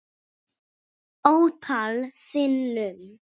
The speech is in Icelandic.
Ótal sinnum.